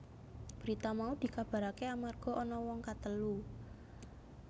Berita mau dikabaraké amarga ana wong katelu